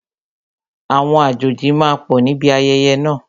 Àwọn àjòjì máa pọ̀ níbi ayẹyẹ náà